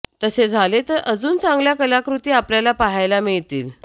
तसे झाले तर अजून चांगल्या कलाकृती आपल्याला पाहायला मिळतील